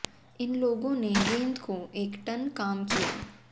इन लोगों ने गेंद को एक टन काम किया